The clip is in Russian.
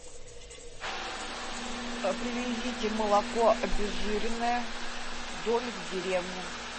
привезите молоко обезжиренное домик в деревне